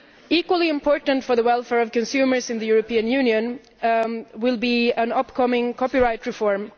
Equally important for the welfare of consumers in the European Union will be the upcoming copyright reform.